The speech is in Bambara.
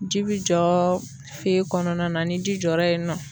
Ji bi jɔ kɔnɔna na, ni ji jɔra yen nɔ